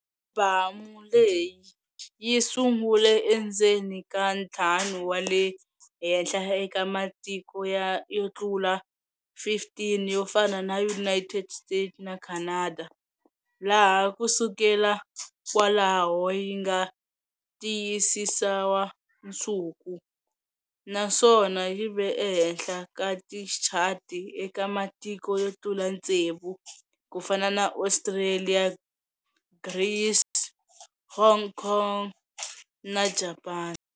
Alibamu leyi yi sungule endzeni ka ntlhanu wa le henhla eka matiko yo tlula 15 yo fana na United States na Canada, laha ku sukela kwalaho yi nga tiyisisiwa nsuku, naswona yi ve ehenhla ka tichati eka matiko yo tlula tsevu, ku fana na Australia, Greece, Hong Kong na Japan.